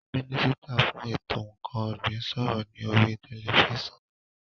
Mínísítà fún ètò ǹkan ọ̀gbìn ń sọ̀rọ̀ ní oríi tẹlifísàn